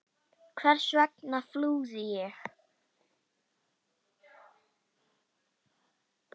Hvers vegna flúði ég?